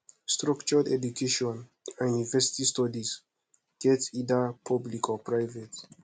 structured education and university studies get either public or private